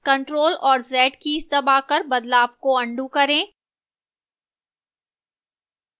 ctrl और z keys दबाकर बदलाव को अन्डू करें